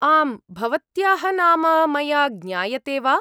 आम्, भवत्याः नाम मया ज्ञायते वा?